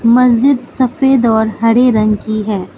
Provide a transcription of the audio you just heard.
मस्जिद सफेद और हरे रंग की है।